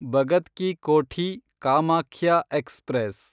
Bhagat ki Kothi Kamakhya express